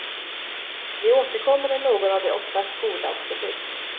Vi återkommer när någon av de åttas skola också byggs.